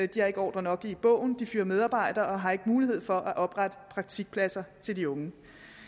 de har ikke ordrer nok i bogen de fyrer medarbejdere og har ikke mulighed for at oprette praktikpladser til de unge